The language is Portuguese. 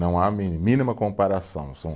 Não há mínima comparação.